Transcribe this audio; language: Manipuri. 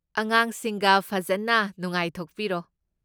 ꯑꯉꯥꯡꯁꯤꯡꯒ ꯐꯖꯟꯅ ꯅꯨꯡꯉꯥꯏꯊꯣꯛꯄꯤꯔꯣ꯫